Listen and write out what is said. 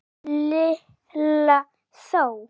Lalli þó!